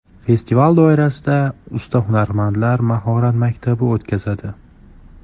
Festival doirasida usta hunarmandlar mahorat maktabi o‘tkazadi.